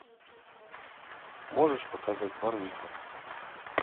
можешь показать барвиха